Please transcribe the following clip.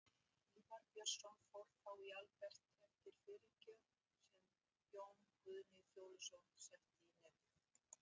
Ívar Björnsson fór þá í Albert eftir fyrirgjöf, sem Jón Guðni Fjóluson setti í netið.